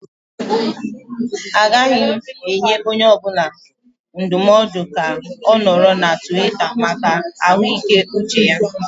Agaghị m enye onye ọ bụla ndụmọdụ ka ọ nọrọ na Tiwita maka ahụike uche ha.